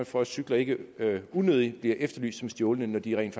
for at cykler ikke unødigt bliver efterlyst som stjålne når de rent